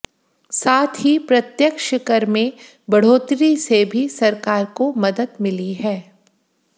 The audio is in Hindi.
साथ ही प्रत्यक्ष कर में बढ़ोतरी से भी सरकार को मदद मिली है